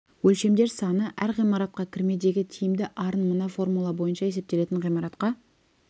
өлшемдер саны әр ғимаратқа кірмедегі тиімді арын мына формула бойынша есептелген ғимаратқа